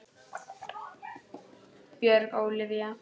Björg Ólavía.